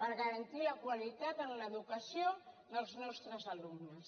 per garantir la qualitat en l’educació dels nostres alumnes